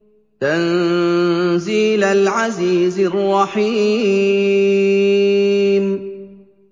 تَنزِيلَ الْعَزِيزِ الرَّحِيمِ